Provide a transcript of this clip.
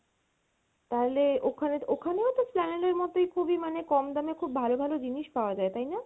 তাহলে ওখানে ওখানেও তো Esplanade এর মতেই খুবই মানে কম দামে খুব ভালো ভালো জিনিস পাওয়া যায় তাই না?